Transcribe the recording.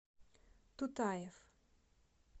тутаев